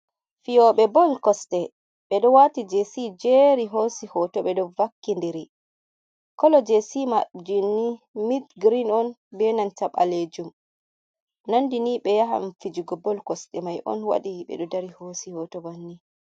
Fiyoɓe bol kosɗe ɓeɗo wati jesi jeri hosi hoto ɓeɗo vakki ndiri, kolo jesi maɓɓe ni minth green on be nanta ɓalejum nandi ni ɓe yahan fijugo bol kosɗe mai on waɗi beɗo dari hosi hoto banni.